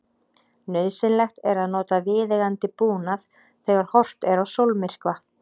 Nauðsynlegt er að nota viðeigandi búnað þegar horft er á sólmyrkva.